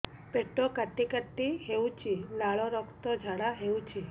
ପେଟ କାଟି କାଟି ହେଉଛି ଲାଳ ରକ୍ତ ଝାଡା ହେଉଛି